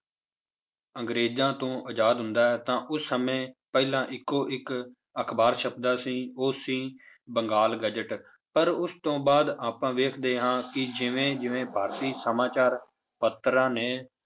ਅੰਗਰੇਜ਼ਾਂ ਤੋਂ ਆਜ਼ਾਦ ਹੁੰਦਾ ਹੈ ਤਾਂ ਉਸ ਸਮੇਂ ਪਹਿਲਾਂ ਇੱਕੋ ਇੱਕ ਅਖ਼ਬਾਰ ਛਪਦਾ ਸੀ ਉਹ ਸੀ ਬੰਗਾਲ ਗਜਟ, ਪਰ ਉਸ ਤੋਂ ਬਾਅਦ ਆਪਾਂ ਵੇਖਦੇ ਹਾਂ ਕਿ ਜਿਵੇਂ ਜਿਵੇਂ ਭਾਰਤੀ ਸਮਾਚਾਰ ਪੱਤਰਾਂ ਨੇ